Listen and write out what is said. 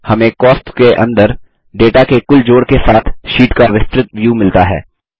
हमें कॉस्ट्स के अंदर डेटा के कुल जोड़ के साथ शीट का विस्तृत व्यू मिलता है